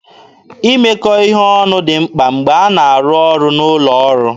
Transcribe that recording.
Imekọ ihe ọnụ dị mkpa mgbe a na-arụ ọrụ n'ụlọ ọrụ.